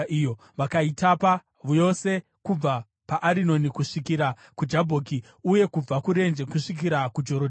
vakaitapa yose kubva paArinoni kusvikira kuJabhoki uye kubva kurenje kusvikira kuJorodhani.